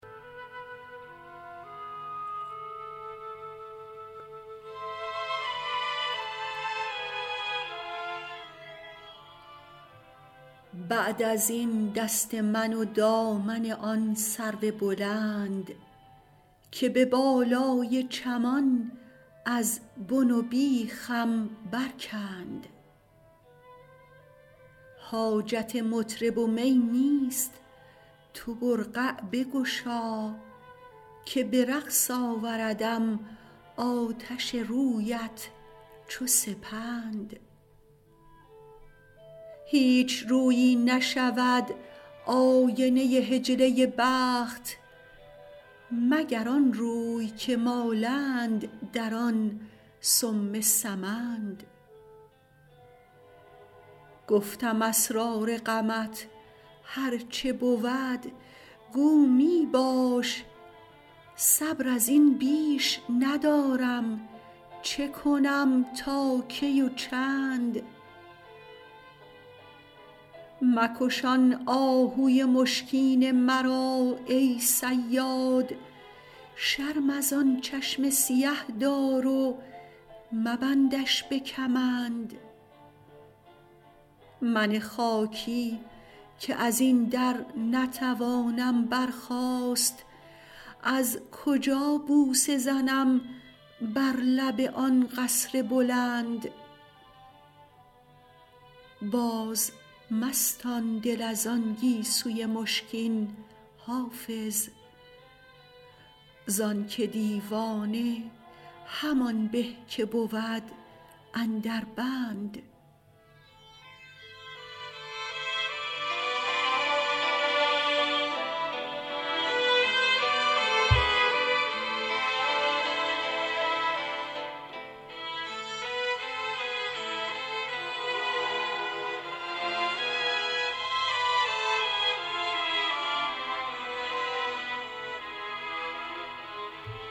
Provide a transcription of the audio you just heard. بعد از این دست من و دامن آن سرو بلند که به بالای چمان از بن و بیخم برکند حاجت مطرب و می نیست تو برقع بگشا که به رقص آوردم آتش رویت چو سپند هیچ رویی نشود آینه حجله بخت مگر آن روی که مالند در آن سم سمند گفتم اسرار غمت هر چه بود گو می باش صبر از این بیش ندارم چه کنم تا کی و چند مکش آن آهوی مشکین مرا ای صیاد شرم از آن چشم سیه دار و مبندش به کمند من خاکی که از این در نتوانم برخاست از کجا بوسه زنم بر لب آن قصر بلند بازمستان دل از آن گیسوی مشکین حافظ زان که دیوانه همان به که بود اندر بند